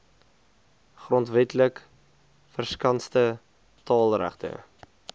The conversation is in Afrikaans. grondwetlik verskanste taalregte